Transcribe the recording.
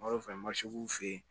fɛ masigiw fen yen